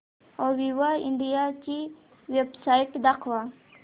Aviva India ची website दाखवा